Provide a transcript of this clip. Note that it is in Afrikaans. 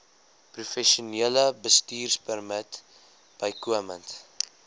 professionele bestuurpermit bykomend